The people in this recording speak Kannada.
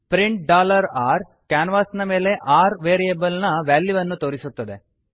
ಪ್ರಿಂಟ್ r ಕ್ಯಾನ್ವಾಸಿನ ಮೇಲೆ r ವೇರಿಯೆಬಲ್ ನ ವ್ಯಾಲ್ಯೂವನ್ನು ತೋರಿಸುತ್ತದೆ